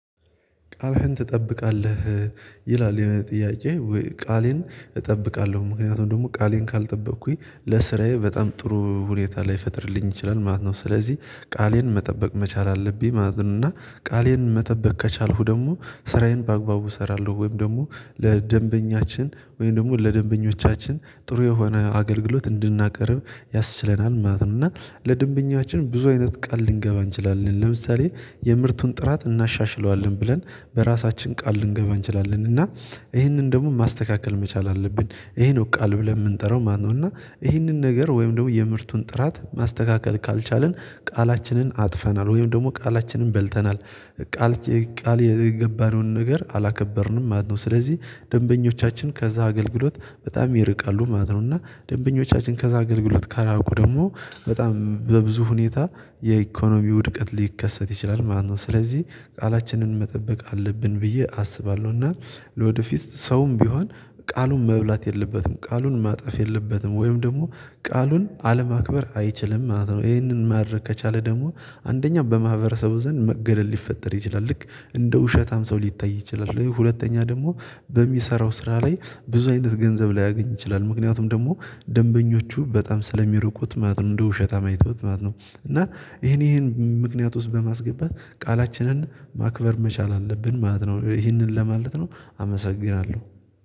ቃልህን ትጠብቃለህ ይላል? የጥያቄ ቃሌን እጠብቃለሁ ምክንያቱም ደግሞ ቃሌን ካልጠበቅኩኝ ለስራዬ በጣም ጥሩ ሁኔታ ላይ ፈጥርልኝ ይችላል ማለት ነው። ስለዚህ ቃሌን መጠበቅ መቻል አለብኝ ማለት ነው። እና ቃሌን መጠበቅ ከቻልኩ ደግሞ ስራዬን በአግባቡ እሰራለሁ ወይም ደግሞ ለደንበኛችን ወይም ደግሞ ለደንበኞቻችን ጥሩ የሆነ አገልግሎት እንድናቀርብ ያስችለናል ማለት ነው። ለድንብኛችን ብዙ አይነት ቃል ልንገባ እንችላለን ለምሳሌ የምርቱን ጥራት እናሻሽለዋለን ብለን በራሳችን ቃል ልንገባ እንችላለን። እና ይህንን ደግሞ ማስተካከል መቻል አለብን ይሄ ነው ቃል ብለን የምንጠራው ማነው? እና ይህንን ነገር ወይም ደግሞ የምርቱን ጥራት ማስተካከል ካልቻልን ቃላችንን አጥፈናል ወይም ደግሞ ቃላችንን በልተናል። ስለዚህ ቃል የገባነውን ነገር አላከበርንም ማለት ነው። ደንበኞቻችን ከዛ አገልግሎት በጣም ይርቃሉ ማለት ነው። እና ደንበኞቻችን ከዛ አገልግሎት ካራቁ ደግሞ በጣም በብዙ ሁኔታ የኢኮኖሚ ውድቀት ሊከሰት ይችላል ማለት ነው። ስለዚህ ቃላችንን መጠበቅ አለብን ብዬ አስባለሁ። እና ለወደፊት ሰውም ቢሆን ቃሉን መብላት የለበትም ቃሉን ማጥፍ የለበትም ወይም ደግሞ ቃሉን አለማክበር አይችልም ማለት ነው። ይሄንን ማድረግ ከቻለ ደግሞ አንደኛ በማህበረሰቡ ዘንድ መገለል ሊፈጠር ይችላል ልክ እንደ ውሸት ሰው ሊታይ ይችላል። ሁለተኛ ደግሞ በሚሰራው ስራ ላይ ብዙ አይነት ገንዘብ ላይ ያገኝ ይችላል። ምክንያቱም ደግሞ ደንበኞቹ በጣም ስለሚርቁት ማለት ነው እንደ ውሸታ አይተውት ማለት ነው። እና ይሄን ይሄን ምክንያት ውስጥ በማስገባት ቃላችንን ማክበር መቻል አለብን ማለት ነው ይሄንን ለማለት ነው። አመሰግናለሁ